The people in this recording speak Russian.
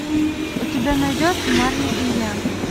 у тебя найдется марли и я